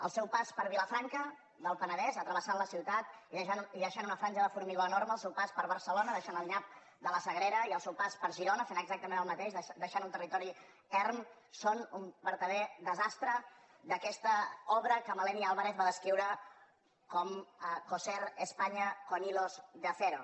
el seu pas per vilafranca del penedès travessant la ciutat i deixant una franja de formigó enorme al seu pas per barcelona deixant el nyap de la sagrera i al seu pas per girona fent exactament el mateix deixant un territori erm són un vertader desastre d’aquesta obra que maleni álvarez va descriure com coser españa con hilos de acero